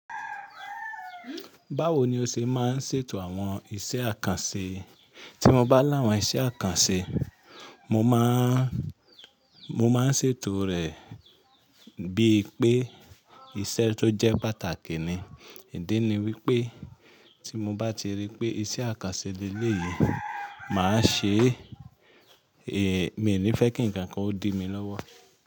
Báwo ni o ṣe máa ń ṣètò àwọn iṣẹ́ àkànṣe? Tí mo bá láwọn iṣẹ́ àkànṣe, mo máa n, mo máa ń ṣètò rẹ̀ bíi pé iṣẹ́ tó jẹ́ pàtàkì ni. Ìdí ni wípé tí mo bá ti rí pé iṣẹ́ àkànṣe lelè yìí, mà á ṣe é. Èé, mi ní fẹ́ kí ǹkan kan ó di mi lọ́wọ́